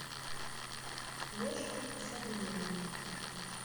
леше асадуллину